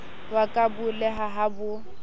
wa ka abolela ha ho